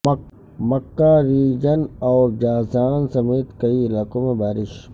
مکہ region اور Jazan سمیت کئی علاقوں میں بارش